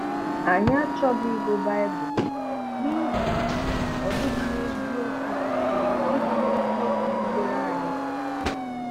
Ànyị achọghị ị̀gụ Bíbụlụ n’ìhè na ọ dị̀ghị n’eziokwu dị̀ghị n’eziokwu jìdèré anyị